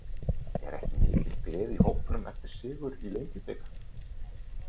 Er ekki mikil gleði í hópnum eftir sigur í Lengjubikarnum?